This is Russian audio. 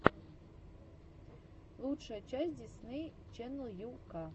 лучшая часть дисней ченнел ю ка